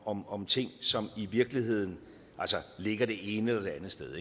om om ting som i virkeligheden ligger det ene eller det andet sted